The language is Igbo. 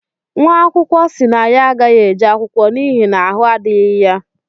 nwaakwụkọ si na ya agaghi-eje akwụkwọ n’ihi na ahụ adighi ya